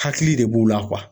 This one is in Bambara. Hakili de b'u la